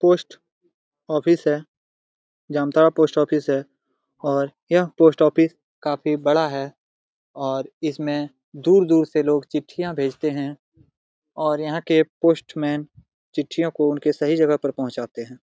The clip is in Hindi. पोस्ट ऑफिस है जामताड़ा पोस्ट ऑफिस है और यह पोस्ट ऑफिस काफी बड़ा है और इसमें दूर - दूर से लोग चिट्टियां भेजते हैं और यहां के पोस्टमैन चिट्टियों उनके सही जगह पर पहुंचाते हैं।